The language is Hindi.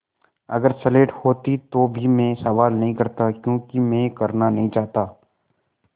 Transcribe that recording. अगर स्लेट होती तो भी मैं सवाल नहीं करता क्योंकि मैं करना नहीं चाहता